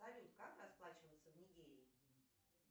салют как расплачиваться в нигерии